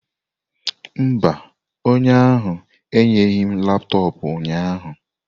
Mba, onye ahụ enyeghị m laptọọpụ ụnyaahụ.